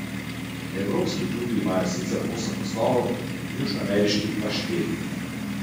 Evropski klubi imajo sicer osem naslovov, južnoameriški pa štiri.